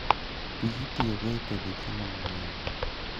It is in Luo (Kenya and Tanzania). Pii itiyogo e tedo chiemo mang'eny